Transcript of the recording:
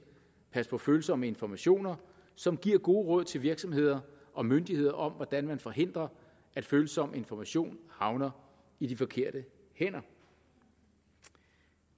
pas på følsomme informationer som giver gode råd til virksomheder og myndigheder om hvordan de forhindrer at følsom information havner i de forkerte hænder